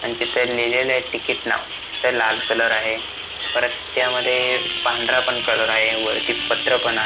आणि तिथं लिहिलेलय तिकीट नाव तिथं लाल कलर आहे परत त्यामध्ये पांढरा पण कलर आहे वरती पत्र पण आ--